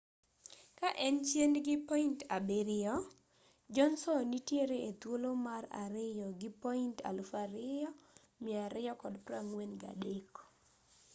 ka en chien gi point abiriyo johnson nitiere e thuolo mar ariyo gi point 2,243